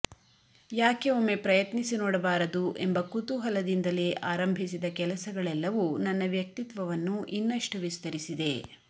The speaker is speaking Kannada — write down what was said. ಯಾಕೆ ಒಮ್ಮೆ ಪ್ರಯತ್ನಿಸಿ ನೋಡಬಾರದು ಎಂಬ ಕುತೂಹಲದಿಂದಲೇ ಆರಂಭಿಸಿದ ಕೆಲಸಗಳೆಲ್ಲವೂ ನನ್ನ ವ್ಯಕ್ತಿತ್ವವನ್ನು ಇನ್ನಷ್ಟು ವಿಸ್ತರಿಸಿದೆ